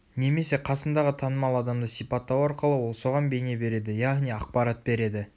немесе қасындағы танымал адамды сипаттау арқылы ол соған бейне береді яғни ақпарат береді